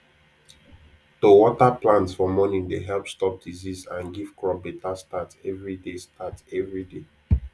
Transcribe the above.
to water plant for morning dey help stop disease and give crop better start every day start every day